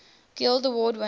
guild award winners